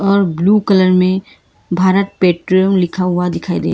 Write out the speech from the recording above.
और blue colour में Bharat petrol लिखा हुआ दिखाई दे।